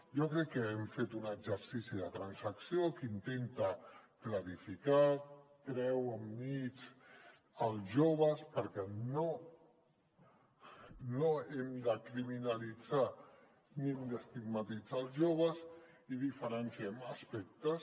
jo crec que hem fet un exercici de transacció que ho intenta clarificar treu del mig els joves perquè no hem de criminalitzar ni hem d’estigmatitzar els joves i en diferenciem aspectes